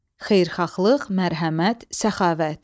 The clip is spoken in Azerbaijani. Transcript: Xeyirxahlıq, mərhəmət, səxavət.